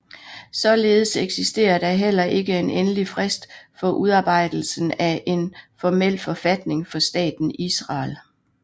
Således eksisterer der heller ikke en endelig frist for udarbejdelsen af en formel forfatning for Staten Israel